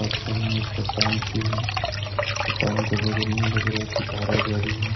और सामने एक चट्टान सी है चट्टान के बगल में लग रहा है की धारा बह रही हो।